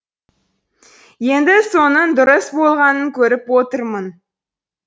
енді соның дұрыс болғанын көріп отырмын